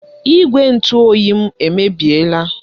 Igwe ntụ oyi m emebiela.